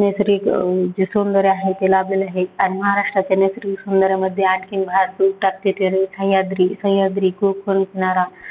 नैसर्गिक अं जे सौंदर्य आहे, ते लाभलेले आहेत आणि महाराष्ट्राच्या नैसर्गिक सौंदर्यामध्ये आणखीन भारतीय सह्यांद्री सह्यांद्री खूप नारा